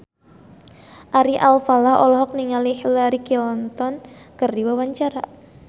Ari Alfalah olohok ningali Hillary Clinton keur diwawancara